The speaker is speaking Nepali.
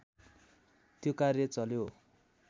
त्यो कार्य चल्यो